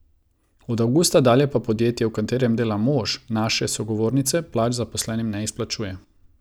Od avgusta dalje pa podjetje, v katerem dela mož naše sogovornice, plač zaposlenim ne izplačuje.